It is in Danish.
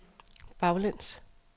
baglæns